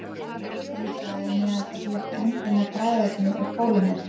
kóladrykkir í dag innihalda þó ekki endilega bragðefni úr kólahnetu